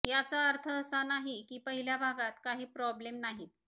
याचा अर्थ असा नाही की पहिल्या भागात काही प्रॉब्लेम नाहीत